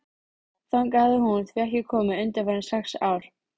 Þangað hafði hún því ekki komið undanfarin sex ár.